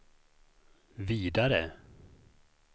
vidare